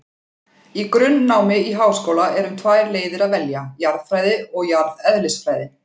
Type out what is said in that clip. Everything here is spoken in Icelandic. Í grunnnámi í háskóla er um tvær leiðir að velja, jarðfræði og jarðeðlisfræði.